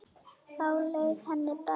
Þá leið henni best.